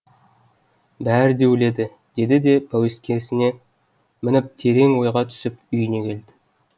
бәрі де өледі деді де пәуескесіне мініп терең ойға түсіп үйіне келді